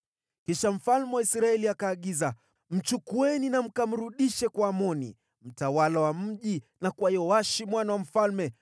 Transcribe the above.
Kisha mfalme wa Israeli akaagiza, “Mchukueni na mkamrudishe kwa Amoni mtawala wa mji na kwa Yoashi mwana wa mfalme.